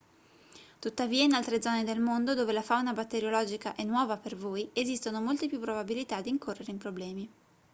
tuttavia in altre zone del mondo dove la fauna batteriologica è nuova per voi esistono molte più probabilità di incorrere in problemi